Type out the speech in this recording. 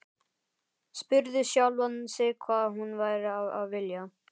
Spurði sjálfan sig hvað hún væri að vilja.